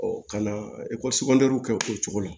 ka na ekɔliso kɛ o cogo la